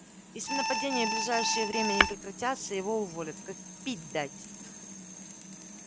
если нападения в ближайшее время не прекратятся его уволят как пить дать